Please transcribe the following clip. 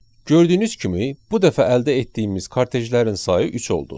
Gördüyünüz kimi, bu dəfə əldə etdiyimiz kortejlərin sayı üç oldu.